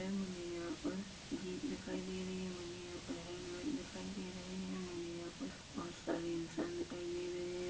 मुझे यहाँ पर जीप दिखाई दे रही हैं मुझे यहाँ पर हेलमेट दिखाई दे रहे हैं मुझे यहाँ पर बहोत सारे इंसान दिखाई दे रहे हैं।